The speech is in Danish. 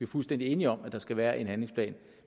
fuldstændig enige om at der skal være en handlingsplan